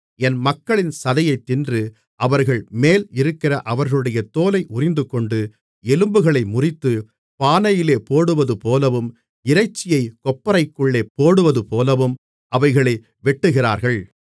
என் மக்களின் சதையைத் தின்று அவர்கள்மேல் இருக்கிற அவர்களுடைய தோலை உரிந்துகொண்டு எலும்புகளை முறித்து பானையிலே போடுவதுபோலவும் இறைச்சியைக் கொப்பரைக்குள்ளே போடுவதுபோலவும் அவைகளை வெட்டுகிறார்கள்